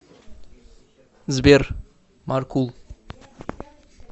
сбер маркул